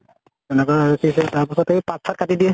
এনেকুৱা, কি আছিলে তাৰপাছত এই পাত চাত কাটি দিয়ে